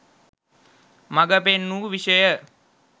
මග පෙන් වූ විෂය